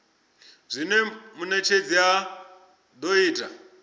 zwine munetshedzi a do ita